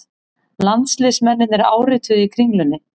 Landsliðsmennirnir árituðu í Kringlunni